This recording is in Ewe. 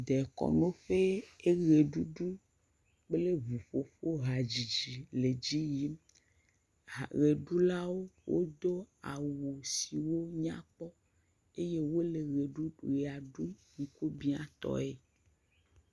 Dekɔnu ƒe eʋeɖuɖu kple eŋu ƒoƒo hadzidzi le edzi yim. Ʋeɖulawo wodo awu siwo nye eye wole ʋe ɖum, ʋea ɖum ŋkubia tɔe.